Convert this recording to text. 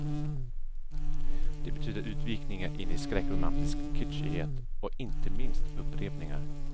Det betyder utvikningar in i skräckromantisk kitschighet och inte minst upprepningar.